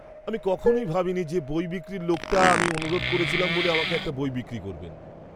আমি কখনই ভাবিনি যে বই বিক্রির লোকটা আমি অনুরোধ করেছিলাম বলে আমার একটা বই বিক্রি করবেন!